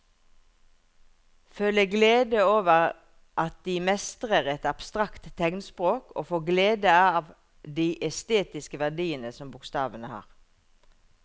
Føle glede over at de mestrer et abstrakt tegnspråk og få glede av de estetiske verdiene som bokstavene har.